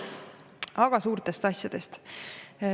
Aga suurtest asjadest.